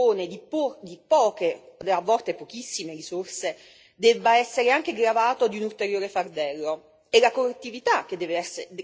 È inaccettabile che chi dispone di poche, a volte pochissime risorse debba essere anche gravato di un ulteriore fardello.